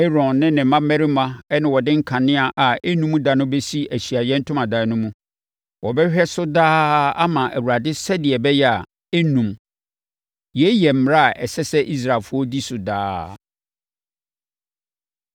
Aaron ne ne mmammarima na wɔde nkanea a ɛnnum da no bɛsi Ahyiaeɛ Ntomadan no mu. Wɔbɛhwɛ so daa ama Awurade sɛdeɛ ɛbɛyɛ a, ɛrennum. Yei yɛ mmara a ɛsɛ sɛ Israelfoɔ di so daa.